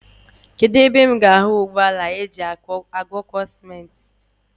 Kedụ ebe m ga-ahụ ụgbọala ajị agwọkọ simenti.